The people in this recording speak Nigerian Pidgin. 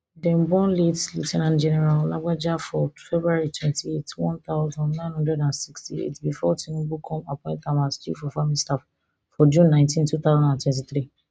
dem born late leu ten ant general lagbaja for february twenty-eight one thousand, nine hundred and sixty-eight bifor tinubu come appoint am as chief of army staff for june nineteen two thousand and twenty-three